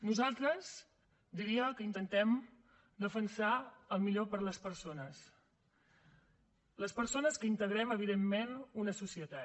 nosaltres ho diria intentem defensar el millor per a les persones les persones que integrem evidentment una societat